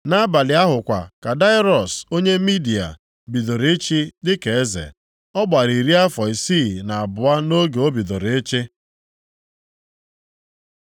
Nʼabalị ahụ kwa ka Daraiọs onye Midia, bidoro ịchị dịka eze. Ọ gbara iri afọ isii na abụọ nʼoge o bidoro ịchị.